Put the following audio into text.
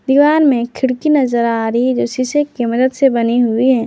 दीवार में खिड़की नजर आ रही है जो शीशे की मदद से बनी हुई है।